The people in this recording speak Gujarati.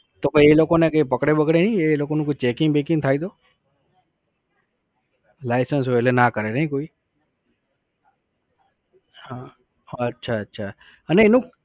તો એ લોકોને કઈ પકડે બકડે નાશી એ લોકો નું કોઈ checking વેકીંગ થાય તો license હોય એટલે ના કરે ને કોઈ. હા અચ્છા અચ્છા અચ્છા અને એનું